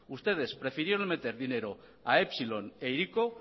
ustedes prefirieron meter dinero a epsilon e hiriko